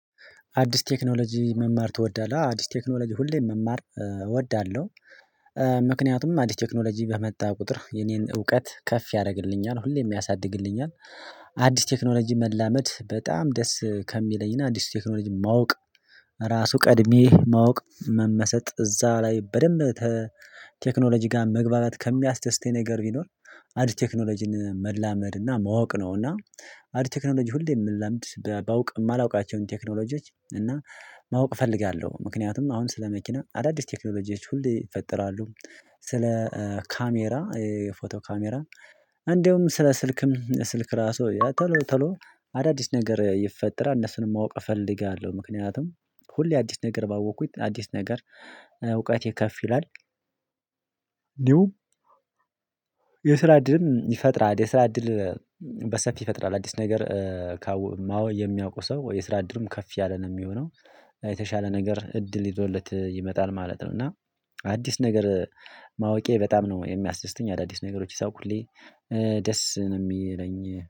አዲስ ቴክኖሎጂ መማር ትወዳለህ አዎ አዲስ ቴክኖሎጂ ሁሌም መማር እወዳለሁ። ምክንያቱም አዲስ ቴክኖሎጂ በመጣ ቁጥር የኔን እውቀት ከፍ ያደርግልኛል ሁሌም ያሳድግልኛል። አዲስ ቴክኖሎጂ መላመድ በጣም ደስ ከሚለኝ እና አዲስ ቴክኖሎጂ ማወቅ ራሱ ቀድሜ ማወቅ መመሰጥ እዛ ላይ በደንብ ቴክኖሎጂ ጋር መግባባት ከሚያስደስተኝ ነገር ቢኖር አዲስ ቴክኖሎጂን መላመድ እና ማወቅ ነው። እና አዲስ ቴክኖሎጂ ሁሌ የምለምድ ባውቅ የማላውቃቸውን ቴክኖሎጂዎች እና ማወቅ እፈልጋለሁ። ምክንያቱም አሁን ስለ መኪና አዳዲስ ቴክኖሎጂዎች ሁሌ ይፈጠራሉ። ስለ ካሜራ የፎቶ ካሜራ እንደውም ስለ ስልክም ስልክ ራሱ ቶሎ ቶሎ አዳዲስ ነገር ይፈጠራል እነሱንም ማወቅ እፈልጋለሁ። ምክንያቱም ሁሌ አዲስ ነገር ባወቅኩት አዲስ ነገር እውቀት የከፍ ይላል። ኒው የስራ እድልም ይፈጥራል የስራ እድል። በሰፊ ይፈጥራል አዲስ ነገር ካወይ ማወ የሚያውቀው ሰው የስራ እድልም ከፍ ያለ ነው የሚሆነው። የተሻለ ነገር እድል ይዞለት ይመጣል ማለት ነው። እና አዲስ ነገር ማወቄ በጣም ነው የሚያስደስተኝ አዳዲስ ነገሮች ሳውቅ ሁሌ ደስ ነው የሚለኝ።